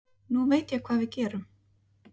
Nú veit ég hvað við gerum